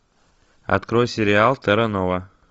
открой сериал терра нова